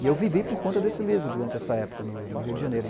E eu vivi por conta desse livro durante essa época no Rio de Janeiro.